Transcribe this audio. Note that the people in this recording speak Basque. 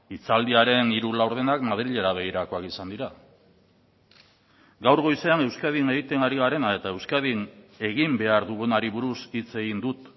hitzaldiaren hiru laurdenak madrilera begirakoak izan dira gaur goizean euskadin egiten ari garena eta euskadin egin behar dugunari buruz hitz egin dut